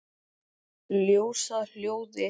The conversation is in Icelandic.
Ljós að hljóði?